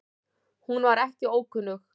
Hún var ekki ókunnug